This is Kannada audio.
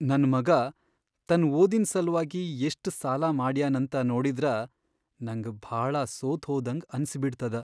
ನನ್ ಮಗಾ ತನ್ ಓದಿನ್ ಸಲ್ವಾಗಿ ಎಷ್ಟ್ ಸಾಲಾ ಮಾಡ್ಯಾನಂತ ನೋಡಿದ್ರ ನಂಗ್ ಭಾಳ ಸೋತ್ಹೋದಂಗ್ ಅನ್ಸಿಬಿಡ್ತದ.